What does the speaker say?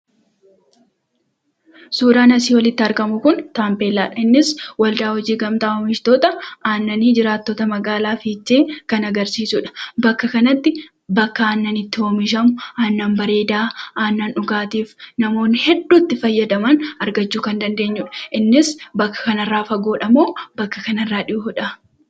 Suuraan asii olitti argamu Kun, Taambeellaadha. Innis waldaa hojii gamtaa oomishtoota aannanii magaalaa fiichee kan agarsiisudha. Bakka kanatti bakka aannan itti oomishamu ,aannan bareedaa, aannan dhugaatiif namootni heedduu itti fayyadaman argachuu kan dandeenyudha. Innis bakka kana irra fagoodha moo bakka kanatti dhihoodha?